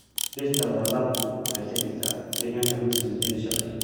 Dhirta la laabku waxay ka dhigtaa deegaanka mid soo jiidasho leh.